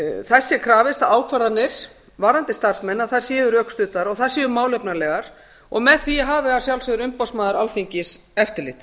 krafist að ákvarðanir varðandi starfsmenn séu rökstuddar og þær séu málefnalegar og með því hafi að sjálfsögðu umboðsmaður alþingis eftirlit